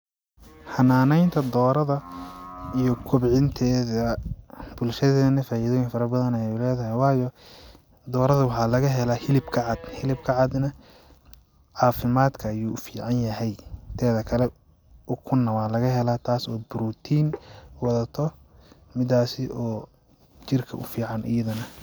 Xanaaneynta doorada iyo kobcinteeda bulshadeena faidooyin fara badan ayay uleydahay waayo waxaa laga helaa hilibka cad hilibka cad nah caafimadka ayu ufican yahay teedakale ukun nah wa laga helaa taas oo protein wadato midaasi oo jirka kufican ayada nah.